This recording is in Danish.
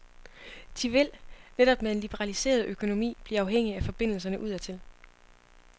De vil, netop med en liberaliseret økonomi, blive afhængig af forbindelserne udadtil.